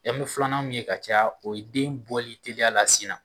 bɛ filanan mun ye ka caya o ye den bɔli teliya la sin na.